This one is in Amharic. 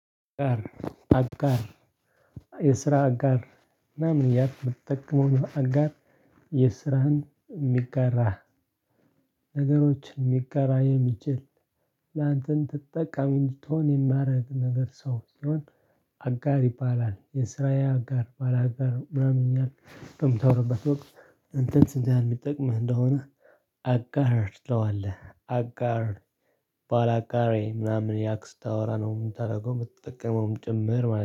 አጋር የስራ አጋር ምናምን ያህል በተጠቅሞ አጋር የስራህን የሚጋራህ ነገሮችን የሚጋራ የሚችል ላንተን ተጠቃሚ እንድትሆን የማድረግ ነገር ሰው ሲሆን አጋር ይባላል። የስራዬ አጋር ባላጋር ምናምን ይላል ከምታወራበት ወቅት። እንትን ስንት የሚጠቅምህ እንደሆነ። አጋር ትለዋለህ አጋር ባላጋሬ ምናምን እያልክ ስታወራ ነው የምታደርገው የምትጠቀመውም ጭምር